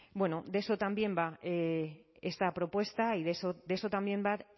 de eso también va esta propuesta y de eso también va